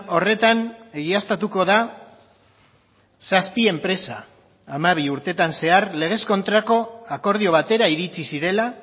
horretan egiaztatuko da zazpi enpresa hamabi urteetan zehar legez kontrako akordio batera iritsi zirela